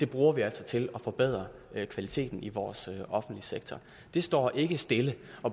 bruger vi altså til at forbedre kvaliteten i vores offentlige sektor det står ikke stille